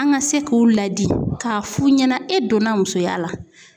An ŋa se k'u ladi k'a f'u ɲɛna e donna musoya la